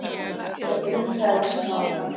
Völlurinn krefst nákvæmni